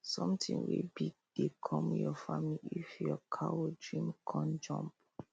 sonthing wey big dey com your family if your cow dream con jump